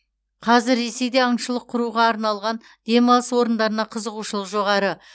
қазір ресейде аңшылық құруға арналған демалыс орындарына қызығушылық жоғары